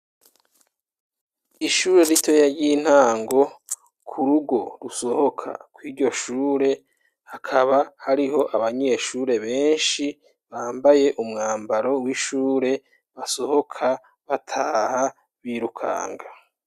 Ishure ritoya ry'intango ku rugo rusohoka kw'iryo shure, hakaba hariho abanyeshure benshi bambaye umwambaro w'ishure basohoka bataha birukanga.